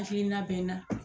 Hakilina bɛ n na